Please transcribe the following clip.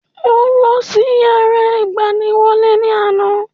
Mo lọ sí yàrá ìgbaniwọlé ní àná